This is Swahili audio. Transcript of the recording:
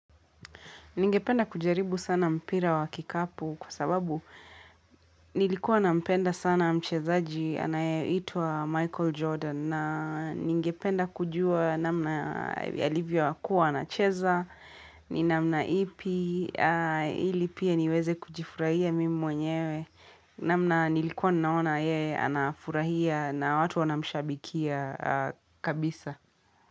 Ningependa kujaribu sana mpira wa kikapu kwa sababu nilikuwa nampenda sana mchezaji anayeitwa Michael Jordan na ningependa kujua namna alivyokua anacheza, ni namna ipi, ili pia niweze kujifurahia mimi mwenyewe, namna nilikuwa naona yeye anafurahia na watu wanamshabikia kabisa.